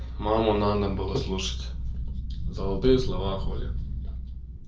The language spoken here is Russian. маму надо было слушать золотые слова хулли